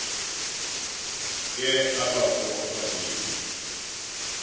ke abafo ababini